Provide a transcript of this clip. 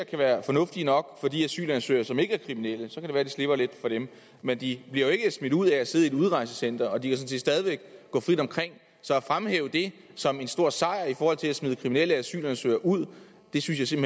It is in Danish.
være fornuftige nok for de asylansøgere som ikke er kriminelle så kan det være vi slipper lidt for dem men de bliver jo ikke smidt ud af at sidde i et udrejsecenter og de kan sådan set stadig væk gå frit omkring så at fremhæve det som en stor sejr i forhold til at smide kriminelle asylansøgere ud synes jeg